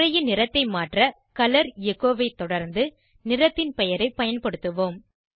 உரையின் நிறத்தை மாற்ற கலர் எச்சோ ஐ தொடர்ந்து நிறத்தின் பெயரை பயன்படுத்துவோம்